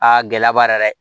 Aa gɛlɛya b'a la dɛ